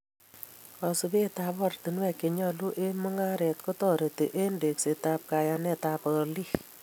Kosubet ab ortinuek chenyolu eng mungaret kotareti eng teksetab kayanetab olik